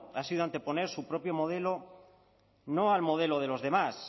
ha sido anteponer su propio modelo no al modelo de los demás